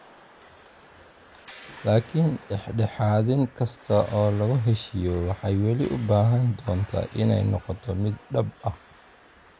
Laakiin dhexdhexaadin kasta oo lagu heshiiyo waxay weli u baahan doontaa inay noqoto mid dhab ah.